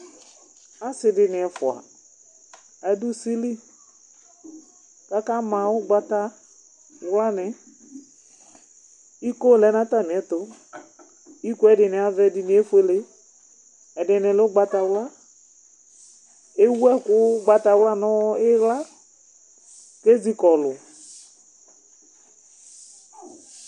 Ɔsi di ni ɛfua, aɖu usili ka ka ma ugbata wlani, iko lɛ nu atamiɛtu, ikoe ɛdini avɛ, ɛdini efuele, ɛdini lɛ ugbata wla Ewu ɛku ugbatawla nu iɣla ke zi kɔlu